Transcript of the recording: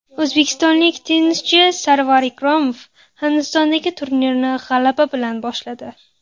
O‘zbekistonlik tennischi Sarvar Ikromov Hindistondagi turnirni g‘alaba bilan boshladi.